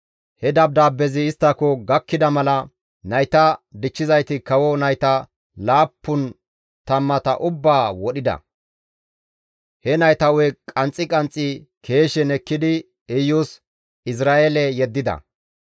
He dabdaabbezi isttako gakkida mala nayta dichchizayti kawo nayta laappun tammata ubbaa wodhida; he nayta hu7e qanxxi qanxxi keeshen ekkidi Iyus Izra7eele yeddida.